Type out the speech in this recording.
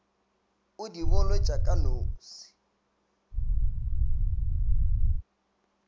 o di bolotša ka nose